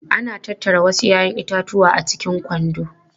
Ana tattara wasu 'ya'yan itatuwa a cikin kwando.